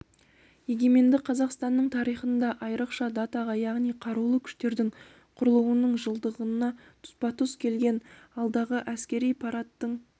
егеменді қазақстанның тарихында айрықша датаға яғни қарулы күштердің құрылуының жылдығына тұспа-тұс келген алдағы әскери парадтың